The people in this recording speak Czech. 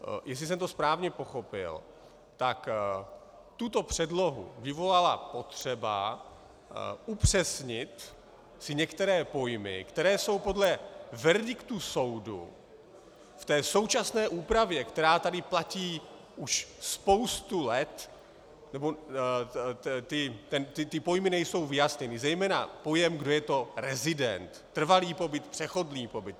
Jestli jsem to správně pochopil, tak tuto předlohu vyvolala potřeba upřesnit si některé pojmy, které jsou podle verdiktu soudu v té současné úpravě, která tady platí už spoustu let, nebo ty pojmy nejsou vyjasněny, zejména pojem, kdo je to rezident, trvalý pobyt, přechodný pobyt.